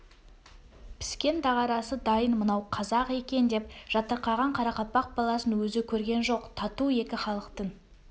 піскен дағарасы дайын мынау қазақ екен деп жатырқаған қарақалпақ баласын өзі көрген жоқ тату екі халықтың